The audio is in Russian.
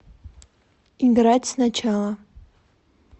играть сначала